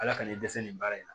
Ala k'an dɛsɛ nin baara in na